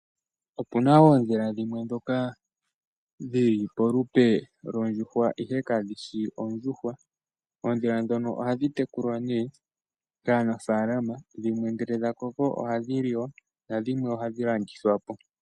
Opuna oondhila dhimwe ndhoka dhi li polupe lwondjuhwa ashike kadhi shi ondjuhwa. Oondhila ndhono ohadhi tekulwa nduno kaanafaalama , shampa dha koko ohadhi liwa nadhimwe ohadhi landithwa po.